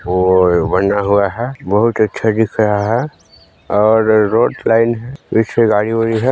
Road बना हुआ है बहुत ही अच्छा दिख रहा है और रोड लाइन है पीछे गाड़ी -उड़ी हैं।